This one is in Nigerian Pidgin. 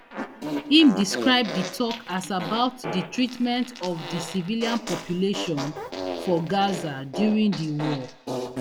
im describe di tok as about di treatment of di civilian population for gaza during di war